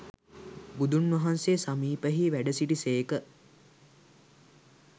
බුදුන් වහන්සේ සමීපයෙහි වැඩ සිටි සේක.